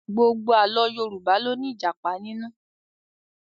Gbogbo Àlọ́ Yorùbá ló ní Ìjàpá nínú